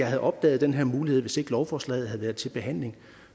havde opdaget den her mulighed hvis lovforslaget til behandling